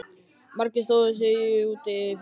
Margir stóðu í hópum úti fyrir.